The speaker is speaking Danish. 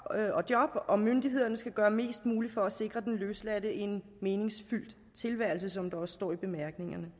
og job og myndighederne skal gøre mest muligt for at sikre den løsladte en meningsfyldt tilværelse som der også står i bemærkningerne